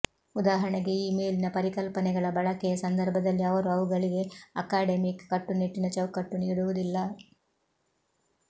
ಉದಾಹರಣೆಗೆ ಈ ಮೇಲಿನ ಪರಿಕಲ್ಪನೆಗಳ ಬಳಕೆಯ ಸಂದರ್ಭದಲ್ಲಿ ಅವರು ಅವುಗಳಿಗೆ ಅಕಾಡೆಮಿಕ್ ಕಟ್ಟುನಿಟ್ಟಿನ ಚೌಕಟ್ಟು ನೀಡುವುದಿಲ್ಲ